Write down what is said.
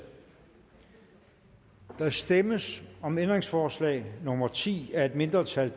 der stemmes om ændringsforslag nummer ti af et mindretal